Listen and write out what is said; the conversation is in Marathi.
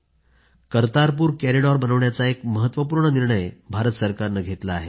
करतारपूर कॉरिडॉर बनवण्याचा एक महत्वपूर्ण निर्णय भारत सरकारने घेतला आहे